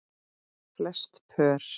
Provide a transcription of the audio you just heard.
Flest pör